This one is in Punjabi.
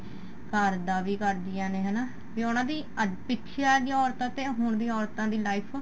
ਘਰ ਦਾ ਵੀ ਕਰਦੀਆਂ ਨੇ ਹਨਾ ਬੀ ਉਹਨਾ ਦੀ ਅੱਜ ਪਿੱਛੇ ਵਾਲੀਆਂ ਔਰਤਾਂ ਤੇ ਹੁਣ ਦੀਆਂ ਔਰਤਾਂ ਦੀ life